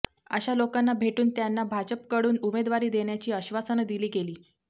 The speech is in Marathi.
अशा लोकांना भेटून त्यांना भाजपकडून उमेदवारी देण्याची आश्वासनं दिली गेली